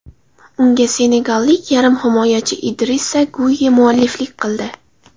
Unga senegallik yarim himoyachi Idrissa Guyye mualliflik qildi.